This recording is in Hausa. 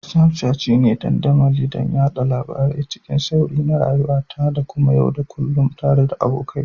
Snapchat shine dandamali don yada labarai cikin sauri na rayuwata ta yau da kullun tare da abokai.